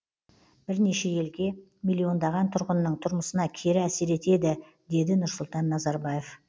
бірнеше елге миллиондаған тұрғынның тұрмысына кері әсер етеді деді нұрсұлтан назарбаев